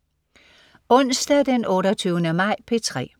Onsdag den 28. maj - P3: